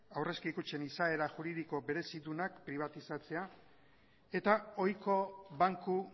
aurrezki kutxen izaera juridiko berezidunak pribatizatzea eta ohiko banku